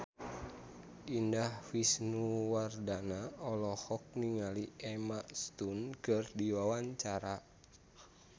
Indah Wisnuwardana olohok ningali Emma Stone keur diwawancara